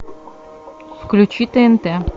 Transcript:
включи тнт